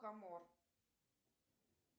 камор